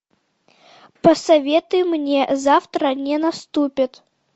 посоветуй мне завтра не наступит